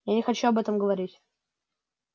я не хочу об этом говорить